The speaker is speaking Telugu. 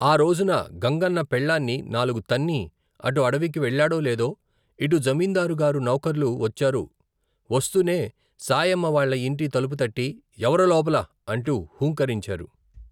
ఆ రోజున గంగన్న పెళ్ళాన్ని నాలుగు తన్ని, అటు అడివికి వెళ్ళాడో లేదో, ఇటు జమీందారుగారి నౌకర్లు వచ్చారు వస్తూనే, శాయమ్మవాళ్ళ యింటి తలుపు తట్టి ఎవరు లోపల అంటూ హూంకరించారు.